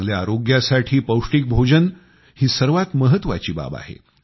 चांगल्या आरोग्यासाठी पौष्टिक भोजन ही सर्वात महत्त्वाची बाब आहे